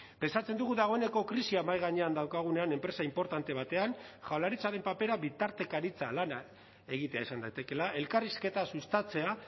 pentsatzen dugu dagoeneko krisia mahai gainean daukagunean enpresa inportante batean jaurlaritzaren papera bitartekaritza lana egitea izan daitekeela elkarrizketa sustatzea